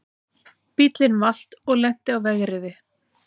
Bíllinn valt og lenti á vegriði